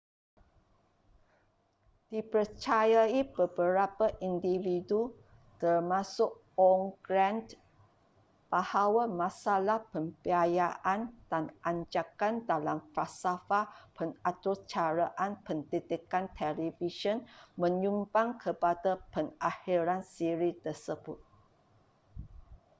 dipercayai beberapa individu termasuk ohn grant bahawa masalah pembiayaan dan anjakan dalam falsafah pengaturcaraan pendidikan televisyen menyumbang kepada pengakhiran siri tersebut